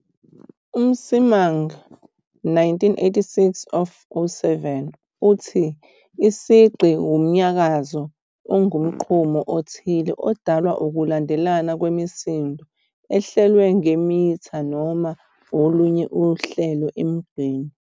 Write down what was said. UMsimang, 1986 of ku-7 uthi isigqi wumnyakazo ongumgqumo othile odalwa ukulandelana kwemisindo ehlelwe ngemitha noma olunye uhlelo emgqeni.